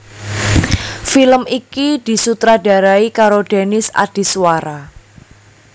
Film iki disutradarai karo Denis Adiswara